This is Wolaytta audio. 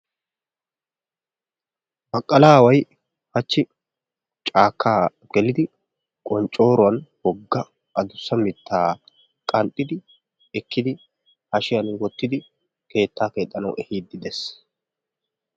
Baqqalaaway hachchi caakka gelidi qonccooruwan wogga addussa mittaa qanxxidi ekkidi hashiyan wottidi keettaa keexxanawu ehiidi des.